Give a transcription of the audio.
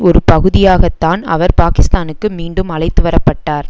ஒரு பகுதியாகத்தான் அவர் பாக்கிஸ்தானுக்கு மீண்டும் அழைத்துவரப்பட்டார்